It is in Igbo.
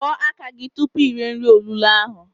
Kwọ aka gi tupu ire nri olulo ahụ!